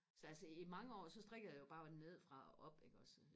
så altså i mange år så strikkede jeg jo bare nede fra og op iggås